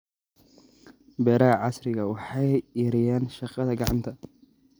Beeraha casriga ahi waxay yareeyaan shaqada gacanta.